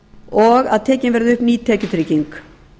og að tekin verði upp ný tekjutrygging